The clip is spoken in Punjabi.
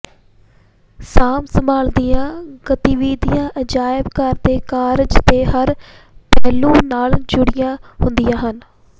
ਸਾਂਭ ਸੰਭਾਲ ਦੀਆਂ ਗਤੀਵਿਧੀਆਂ ਅਜਾਇਬ ਘਰ ਦੇ ਕਾਰਜ ਦੇ ਹਰ ਪਹਿਲੂ ਨਾਲ ਜੁੜੀਆਂ ਹੁੰਦੀਆਂ ਹਨ